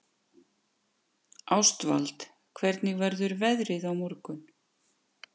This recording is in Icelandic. Ástvald, hvernig verður veðrið á morgun?